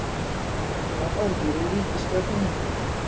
Ekki var Óli í ríkisstjórninni.